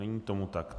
Není tomu tak.